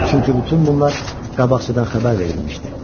Çünki bütün bunlar qabaqcadan xəbər verilmişdi.